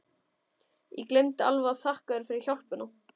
Ég gleymdi alveg að þakka þér fyrir hjálpina!